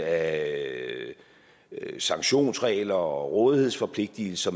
af sanktionsregler og rådighedsforpligtelser